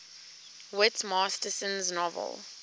whit masterson's novel